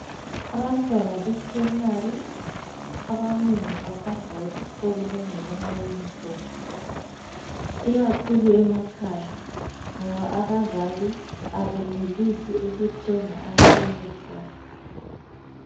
Abantwana be primary abanengi bahamba esikolo bengelamayunifomu ikakhulu emakhaya ngoba abazali abenelisi ukuthenga amayunifomu.